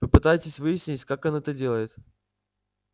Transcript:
попытайтесь выяснить как он это делает